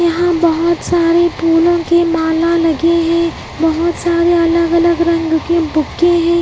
यहां बहोत सारे फूलों के माला लगे हैं बहोत सारे अलग अलग रंग की बुके हैं।